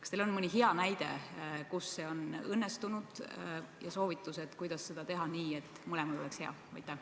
Kas teil on mõni hea näide, kus see on õnnestunud, ja soovitus, kuidas teha seda nii, et mõlemal oleks hea?